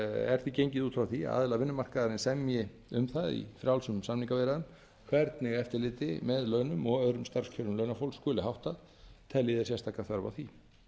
er því gengið út frá því að aðilar vinnumarkaðarins semji um það í frjálsum samningaviðræðum hvernig eftirliti með launum og öðrum starfskjörum launafólks skuli háttað telji þeir sérstaka þörf á því